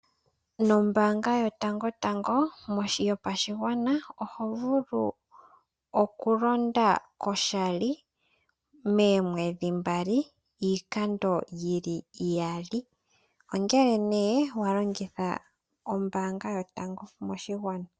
Nombanga yotango tango yopashigwana oho vulu okulanda koshali momwedhi mbali iikando iyali ongele ne walongitha Ombanga yotango yopashigwana.